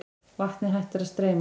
Vatnið hættir að streyma.